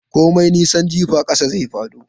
Komai nisan jifa ƙasa zai fado.